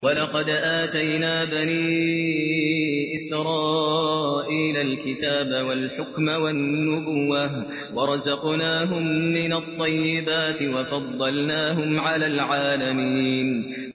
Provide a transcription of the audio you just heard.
وَلَقَدْ آتَيْنَا بَنِي إِسْرَائِيلَ الْكِتَابَ وَالْحُكْمَ وَالنُّبُوَّةَ وَرَزَقْنَاهُم مِّنَ الطَّيِّبَاتِ وَفَضَّلْنَاهُمْ عَلَى الْعَالَمِينَ